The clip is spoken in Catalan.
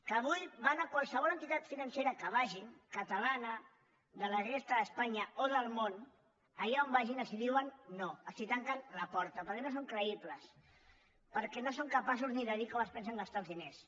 que avui van a qualsevol entitat financera que vagin catalana de la resta d’espanya o del món allà on vagin els diuen no els tanquen la porta perquè no són creïbles perquè no són capaços ni de dir com es pensen gastar els diners